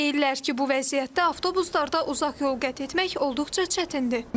Deyirlər ki, bu vəziyyətdə avtobuslarda uzaq yol qət etmək olduqca çətindir.